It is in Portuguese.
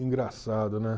Engraçado, né?